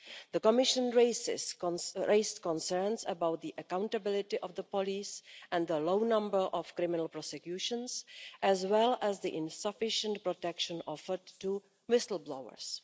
The Commission raised concerns about the accountability of the police and the low number of criminal prosecutions, as well as the insufficient protection offered to whistle blowers.